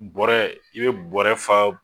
Bɔrɛ i be bɔrɛ fa